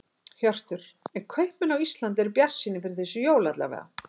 Hjörtur: En kaupmenn á Íslandi eru bjartsýnir fyrir þessi jólin alla vega?